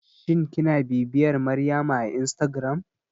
Shin kina bibiyar Maryama a instagram?